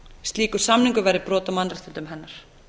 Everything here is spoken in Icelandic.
slíkur samningur væri brot á mannréttindum hennar